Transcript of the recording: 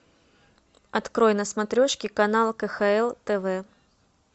открой на смотрешке канал кхл тв